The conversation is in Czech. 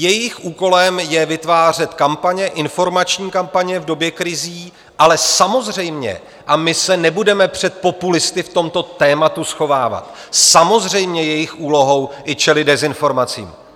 Jejich úkolem je vytvářet kampaně, informační kampaně v době krizí, ale samozřejmě - a my se nebudeme před populisty v tomto tématu schovávat - samozřejmě jejich úlohou je čelit dezinformacím.